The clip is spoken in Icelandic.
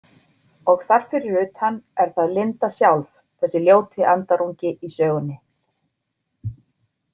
Og þar fyrir utan er það Linda sjálf, þessi ljóti andarungi í sögunni.